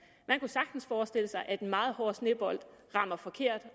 man kunne sagtens forestille sig at en meget hård snebold rammer forkert